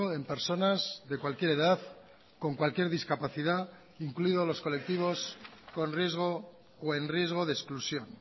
en personas de cualquier edad con cualquier discapacidad incluido los colectivos con riesgo o en riesgo de exclusión